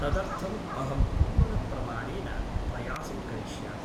तदर्थम् अहं पूर्ण प्रमाणेन प्रयासं करिष्यामि ।